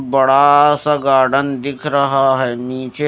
बड़ा सा गार्डन दिख रहा है नीचे--